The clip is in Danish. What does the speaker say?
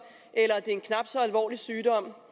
eller en knap så alvorlig sygdom